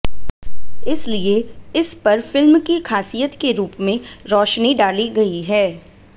इसलिए इस पर फिल्म की खासियत के रूप में रोशनी डाली गई है